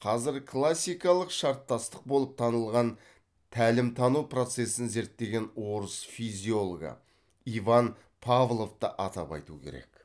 қазір классикалық шарттастық болып танылған тәлім тану процесін зерттеген орыс физиологы иван павловты атап айту керек